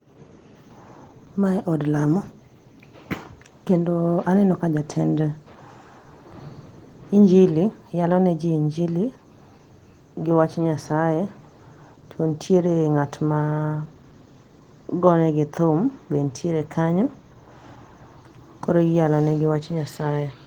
Mae od lamo kendo aneno ka jatend injili yaloneji injili gi wach Nyasae, to ntiere ng'at ma gone gi thum be ntiere kanyo, koro iyalo negi wach Nyasae.